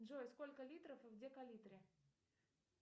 джой сколько литров в декалитре